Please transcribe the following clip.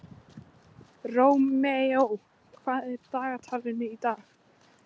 Rómeó, hvað er í dagatalinu í dag?